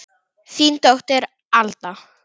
Þín dóttir Alda.